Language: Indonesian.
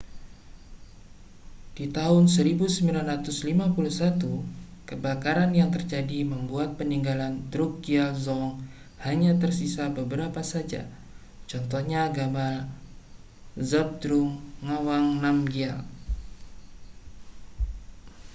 di tahun 1951 kebakaran yang terjadi membuat peninggalan drukgyal dzong hanya tersisa beberapa saja contohnya gambar zhabdrung ngawang namgyal